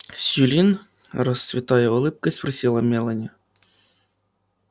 сьюлин расцветая улыбкой спросила мелани